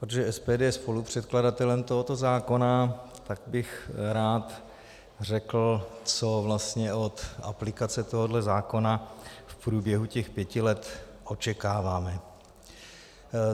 Protože SPD je spolupředkladatelem tohoto zákona, tak bych rád řekl, co vlastně od aplikace tohoto zákona v průběhu těch pěti let očekáváme.